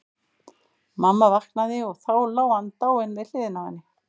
Mamma vaknaði og þá lá hann dáinn við hliðina á henni.